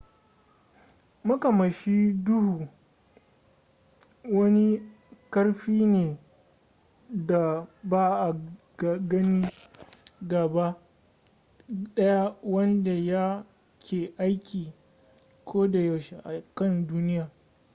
makamashi duhu wani karfi ne da ba a gani gaba daya wanda ya ke aiki ko da yaushe a kan duniya